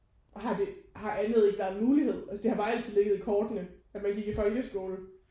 Har det har andet ikke været en mulighed altså det har bare altid ligget i kortene at man gik i folkeskolen